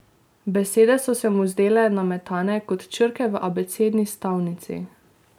Besede so se mu zdele nametane kot črke v abecedni stavnici.